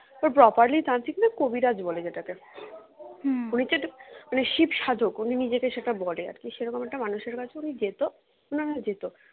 তো properly তান্ত্রিক না কবিরাজ বলে যেটাকে উনি হচ্ছে উনি শিবসাধক উনি নিজেকে সেটা বলে আরকি সেরকম একটা মানুষের কাছে উনি যেতো ওনারা যেতো